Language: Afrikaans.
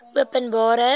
openbare